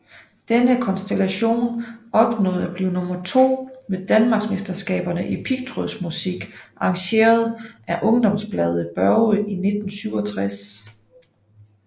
Denne konstellation opnåede at blive nummer 2 ved Danmarksmesterskaberne i pigtrådsmusik arrangeret af ungdomsbladet Børge i 1967